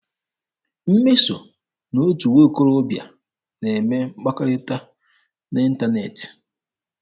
Mmeso na otu nwokorobịa na-eme mkpakọrịta n'ịntaneetị.